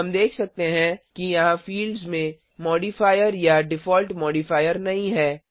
हम देख सकते हैं कि यहाँ fieldsमें मॉडिफायर या डिफॉल्ट मॉडिफायर नहीं है